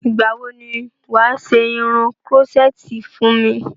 Ìgbà wo ni wà á ṣe irun krọ́ṣẹ́tì fún mi?